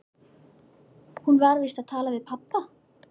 Vantar þó mikið á, að því uppbyggingarstarfi sé lokið.